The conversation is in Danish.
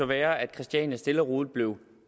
være at christiania stille og roligt blev